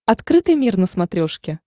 открытый мир на смотрешке